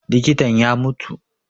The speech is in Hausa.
Likitan ya mutu